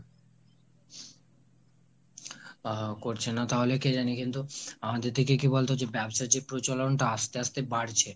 আহ করছে না তাহলে কে জানে কিন্তু আমাদের থেকে কি বলতো, ব্যবসার যে প্রচলন টা আস্তে আস্তে বাড়ছে।